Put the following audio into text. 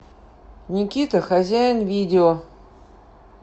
никита хозяин видео